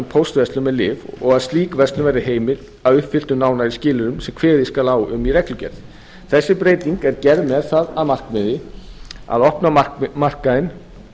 póstverslun með lyf og að slík verslun verði heimil að uppfylltum nánari skilyrðum sem kveðið skal á um í reglugerð þessi breyting er gerð með það að markmiði að opna markaðinn